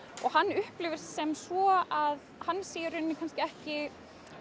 og hann upplifir sem svo að hann sé í rauninni ekki